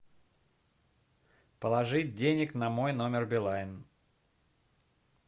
положить денег на мой номер билайн